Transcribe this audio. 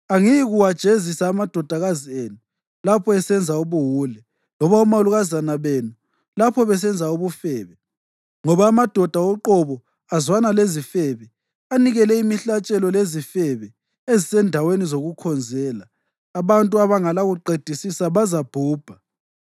Angiyikuwajezisa amadodakazi enu lapho esenza ubuwule loba omalukazana benu lapho besenza ubufebe, ngoba amadoda uqobo azwana lezifebe anikele imihlatshelo lezifebe ezisezindaweni zokukhonzela abantu abangelakuqedisisa bazabhubha.